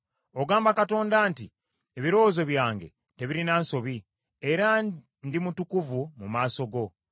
Ogamba Katonda nti, ‘Ebirowoozo byange tebirina nsobi, era ndi mutukuvu mu maaso go.’